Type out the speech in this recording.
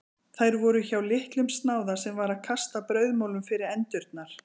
Þær voru hjá litlum snáða sem var að kasta brauðmolum fyrir endurnar.